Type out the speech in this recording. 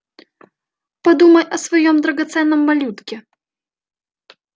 подумай о своём драгоценном малютке